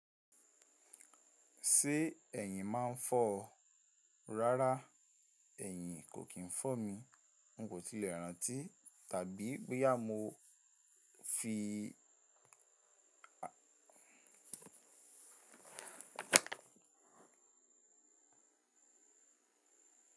Ṣé ẹ̀yin máa ń fọ́ ọ? Rárá ẹ̀yin kò kí ń fọ́ mi. N kò tilẹ̀ rántí tàbí bo yá mo fi.